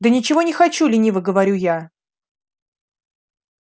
да ничего не хочу лениво говорю я